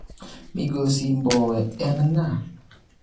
migosi Mbowe en ng'a?